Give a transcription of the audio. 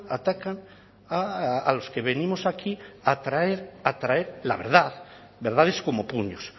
atacan a los que venimos aquí a traer a traer la verdad verdades como puños